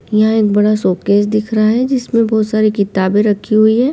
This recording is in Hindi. यहं एक बड़ा सूटकेस दिख रहा है जिसमें बहुत सारी किताबें रखी हुई है।